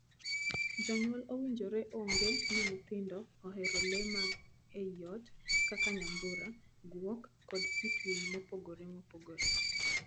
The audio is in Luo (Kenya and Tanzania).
Jonyuol owinjore ong'ee ni nyithindo ohero lee mag ii ot kaka nyambura, guok, kod kit winy mopogore.